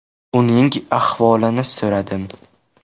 Uning ahvolini so‘radim.